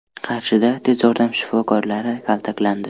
Qarshida tez yordam shifokorlari kaltaklandi.